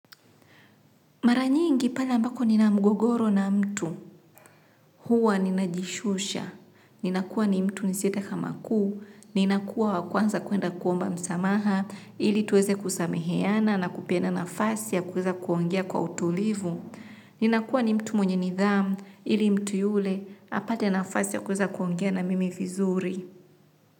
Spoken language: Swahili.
Mara nyingi pale ambapo nina mgogoro na mtu, huwa najishusha, nakuwa mtu wa kwanza kuenda kuomba msamaha ili tuweze kusameheana na kupata nafasi ya kuweza kuongea kwa utulivu. Ninakuwa mtu mwenye nidhamu ili mtu yule apate nafasi ya kuweza kuongea na mimi vizuri.